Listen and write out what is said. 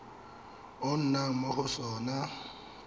o nnang mo go sona